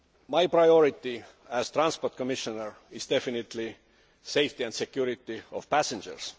My priority as Transport Commissioner is definitely the safety and security of passengers.